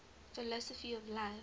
philosophy of life